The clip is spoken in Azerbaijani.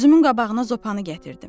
Gözümün qabağına zopanı gətirdim.